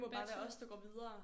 Det må bare være os der går videre